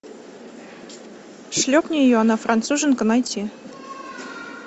шлепни ее она француженка найти